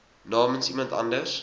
namens iemand anders